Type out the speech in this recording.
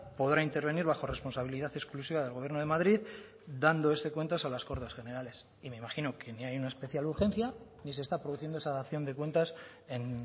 podrá intervenir bajo responsabilidad exclusiva del gobierno de madrid dando este cuentas a las cortes generales y me imagino que ni hay una especial urgencia ni se está produciendo esa dación de cuentas en